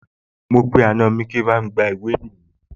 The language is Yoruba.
Mo pe àna mi pé kí bá mi gba ìwé ìrìnnà